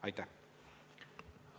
Aitäh!